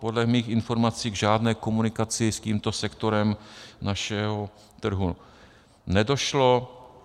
Podle mých informací k žádné komunikaci s tímto sektorem našeho trhu nedošlo.